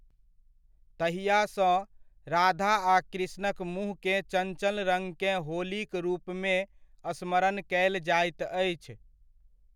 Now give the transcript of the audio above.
तहिआसँ, राधा आ कृष्णक मुँहकेँ चञ्चल रङ्गकेँ होलीक रूपमे स्मरण कयल जाइत अछि।